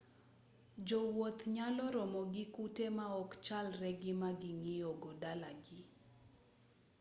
jowuoth nyalo romo gi kute ma ok chalre gi ma ging'iyogo dala gi